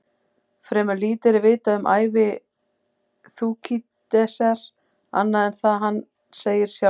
Fremur lítið er vitað um ævi Þúkýdídesar annað en það sem hann segir sjálfur.